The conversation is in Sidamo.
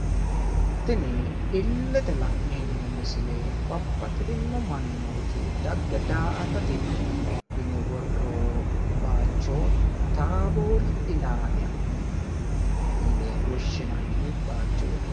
Tini illete la'neemmo misile babbaxitino mannooti dagge da'atate yine worroonni baayicho taaboori ilaala yine woshinanni baayichooti.